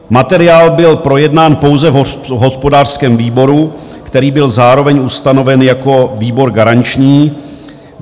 Materiál byl projednán pouze v hospodářském výboru, který byl zároveň ustanoven jako výbor garanční.